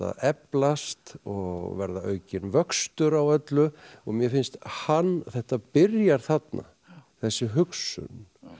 eflast og verða aukinn vöxtur á öllu og mér finnst hann þetta byrjar þarna þessi hugsun